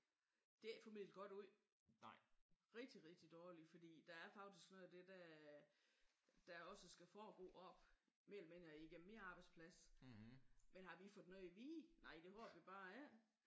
Det er ikke formidlet godt ud. Rigtig rigtig dårligt. Fordi der er faktisk noget af det der der også skal foregå op mellem igennem min arbejdsplads. Men har vi fået noget at vide? Nej det har vi bare ikke